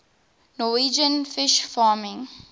norwegian fish farming